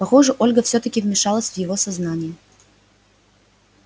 похоже ольга всё-таки вмешалась в его сознание